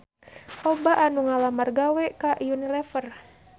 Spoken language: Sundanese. Loba anu ngalamar gawe ka Unilever